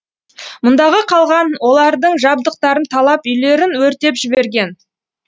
мұндағы қалған олардың жабдықтарын талап үйлерін өртеп жіберген